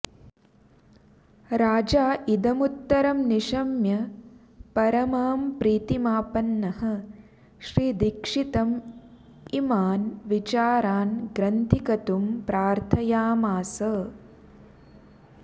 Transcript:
राजा इदमुत्तरं निशम्य परमां प्रीतिमापन्नः श्रीदीक्षितम् इमान् विचारान् ग्रन्थीकतुं प्रार्थयामास